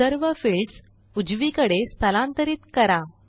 सर्व फिल्डस उजवीकडे स्थलांतरित करा